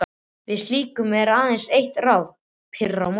Við slíku er aðeins eitt ráð: pirra á móti.